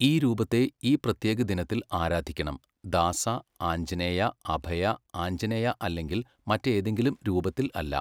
ഈ രൂപത്തെ ഈ പ്രത്യേക ദിനത്തിൽ ആരാധിക്കണം, ദാസ, ആഞ്ജനേയ, അഭയ, ആഞ്ജനേയ അല്ലെങ്കിൽ മറ്റേതെങ്കിലും രൂപത്തിൽ അല്ല.